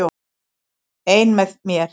Ein með mér.